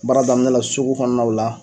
Baara daminɛn la sugu kɔnɔnaw la.